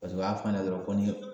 Paseke u y'a f'a ɲɛna dɔrɔn ko ni